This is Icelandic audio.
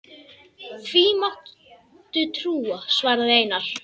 Því máttu trúa, svaraði Einar.